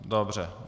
Dobře.